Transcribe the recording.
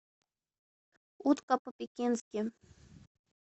утка по пекински